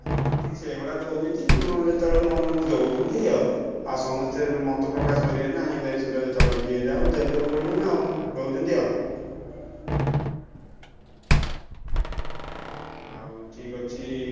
ହଁ ଠିକ୍ ସେଇଭଳିଆ ଦଉଛନ୍ତି, ଉଁ ଯେତବେଳେ ମନ ଦଉଛନ୍ତି ଆଉ ଆଉ ସମସ୍ତେ ବି ମତେ ପ୍ରକାଶ କରିବେନି ନା election ଟା ଯେତବେଳେ ଯିଏ ଯାହାକୁ ଦେବେ ପଡିବ ନା ଆଉ ଦଉଛନ୍ତି ଆଉ। ଆଉ ଠିକ୍ ଅଛି।